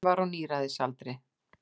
Hann var á níræðisaldri.